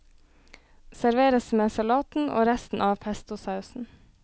Serveres med salaten og resten av pestosausen.